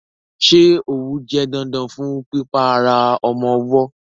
Ṣé òwú jẹ́ dandan fún pípa ara ọmọ ọwọ́?